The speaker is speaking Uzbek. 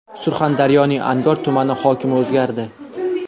Surxondaryoning Angor tumani hokimi o‘zgardi.